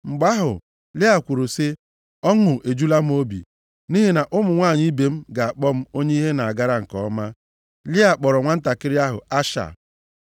Mgbe ahụ Lịa kwuru sị, “Ọṅụ ejula m obi, nʼihi na ụmụ nwanyị ibe m ga-akpọ m onye ihe na-agara nke ọma.” Lịa kpọrọ nwantakịrị nwoke ahụ Asha.